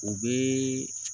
U bɛ